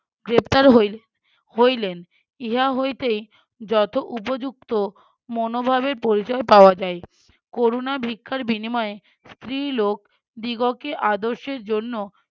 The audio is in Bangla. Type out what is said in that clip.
গ্রেপ্তার হই~ হইলেন ইহা হইতে যথ উপযুক্ত মনোভাবের পরিচয় পাওয়া যায় করুণা ভিক্ষার বিনিময়ে স্ত্রীলোক দিগকে আদর্শের জন্য